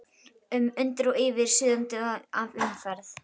um, undir og yfir, suðandi af umferð.